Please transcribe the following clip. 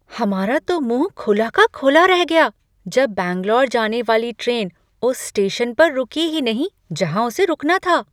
हमारा तो मुँह खुला का खुला रह गया जब बैंगलोर जाने वाली ट्रेन उस स्टेशन पर रुकी ही नहीं जहाँ उसे रुकना था।